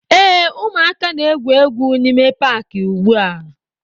Ee, ụmụaka na-egwu egwu n'ime Paakị ugbua